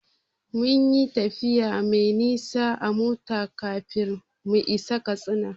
Mun yi tafiya mai nisa a mota kafin mu isa Katsina.